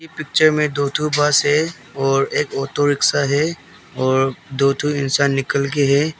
एह पिक्चर में दो दो ठो बस है और एक ऑटो रिक्शा है और दो ठो इंसान निकल के है।